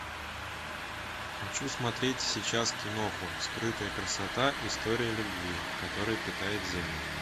хочу смотреть сейчас киноху скрытая красота история любви которая питает землю